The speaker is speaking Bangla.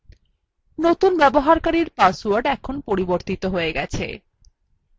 নতুন ব্যবহারকারীর পাসওয়ার্ড এখন পরিবর্তিত হয়ে গেছে